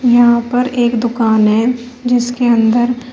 यहां पर एक दुकान है जिसके अंदर--